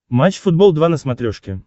матч футбол два на смотрешке